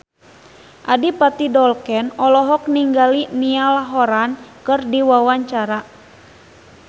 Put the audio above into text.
Adipati Dolken olohok ningali Niall Horran keur diwawancara